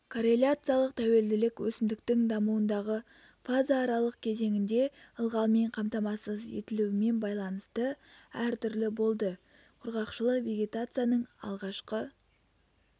корреляциялық тәуелділік өсімдіктің дамуындағы фазааралық кезеңінде ылғалмен қамтамасыз етілуімен байланысты әр түрлі болды құрғақшылық вегетацияның алғашқы